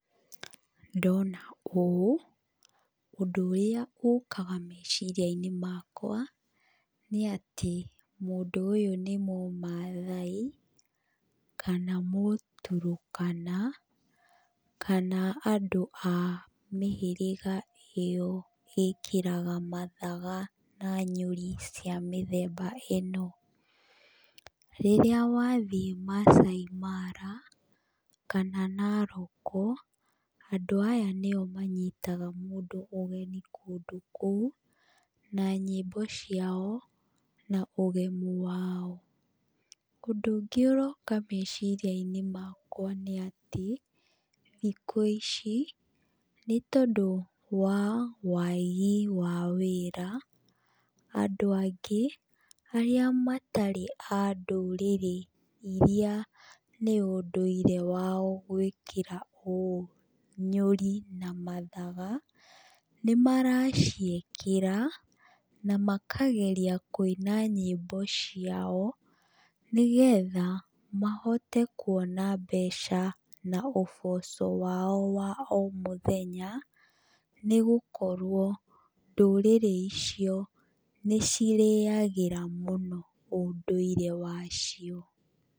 Ndona ũũ, ũndũrĩa ũkaga meciria-inĩ makwa, nĩ atĩ, mũndũ ũyũ nĩ mũmathai, kana mũturũkana, kana andũ a mĩhĩrĩga ĩyo ĩkĩraga mathaga na nyũri cia mĩthemba ĩno. Rĩrĩa wathiĩ Maasai mara, kana Naroko, andũ aya nĩo manyitaga mũndũ ũgeni kũndũ kũu, na nyĩmbo ciao, na ũgemu wao. Ũndũ ũngĩ ũroka meciria-inĩ makwa nĩ atĩ, thikũ ici, nĩ tondũ wa wagi wa mawĩra, andũ angĩ, arĩa matarĩ a ndũrĩrĩ iria nĩ ũndũire wao gũĩkĩra ũũ, nyũri na mathaga, nĩmaraciĩkĩra, na makageria kũina nyiĩmbo ciao, nĩgetha mahote kuona mbeca na ũboco wao wa o mutheya, nĩgũkorwo ndũrĩrĩ icio nĩcirĩagĩra mũno ũndũire wacio.